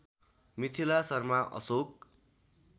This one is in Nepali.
मिथिला शर्मा अशोक